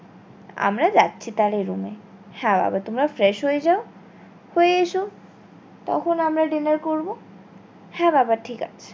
আমরা যাচ্ছি তাহলে room এ হ্যাঁ বাবা তোমরা fresh হয়ে যাও হয়ে এসো তখন আমরা dinner করবো হ্যাঁ বাবা ঠিক আছে